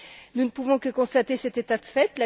Nous ne pouvons que constater cet état de fait.